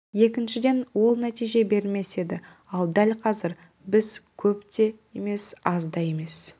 екіншіден ол нәтиже бермес еді ал дәл қазір біз көп те емес аз да емес